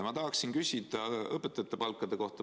Ma tahan küsida õpetajate palga kohta.